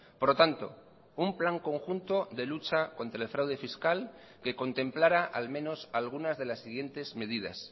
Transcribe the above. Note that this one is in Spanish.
por lo tanto un plan conjunto de lucha contra el fraude fiscal que contemplara al menos algunas de las siguientes medidas